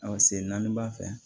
sen naani b'a fɛ